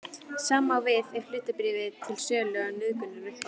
Sama á við ef hlutabréf eru til sölu á nauðungaruppboði.